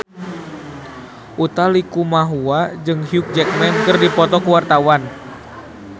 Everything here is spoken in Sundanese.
Utha Likumahua jeung Hugh Jackman keur dipoto ku wartawan